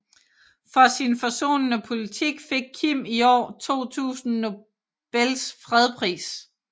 For sin forsonende politik fik Kim i år 2000 Nobels fredspris